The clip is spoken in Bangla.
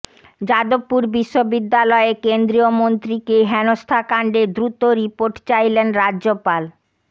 যাদবপুর বিশ্ববিদ্যালয়ে কেন্দ্রীয় মন্ত্রীকে হেনস্থাকাণ্ডে দ্রুত রিপোর্ট চাইলেন রাজ্যপাল